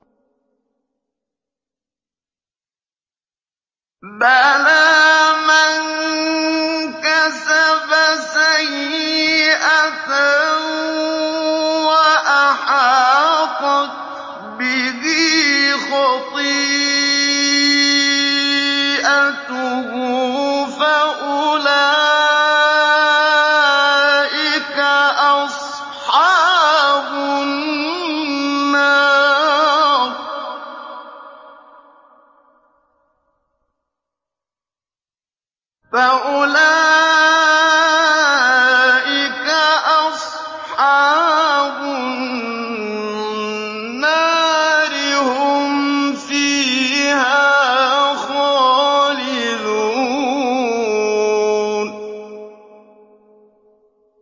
بَلَىٰ مَن كَسَبَ سَيِّئَةً وَأَحَاطَتْ بِهِ خَطِيئَتُهُ فَأُولَٰئِكَ أَصْحَابُ النَّارِ ۖ هُمْ فِيهَا خَالِدُونَ